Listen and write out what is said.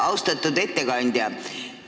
Austatud ettekandja!